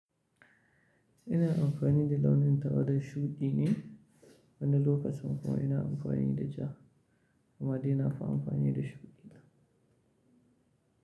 Ina amfani da launin tawada shuɗi ne, wani lokacin kuma ina amfani da ja kuma dai na fi amfani da shuɗi.